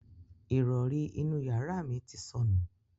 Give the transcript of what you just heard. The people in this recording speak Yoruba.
Ìrọrí inú yàrá mi ti sọnù.